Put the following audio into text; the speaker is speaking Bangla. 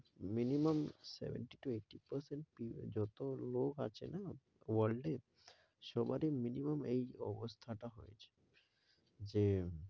Minimum seventy to eighty percent পিউ~ যত লোক আছে না world এ সবারই minimum এই অবস্থাটা হয়েছে যে,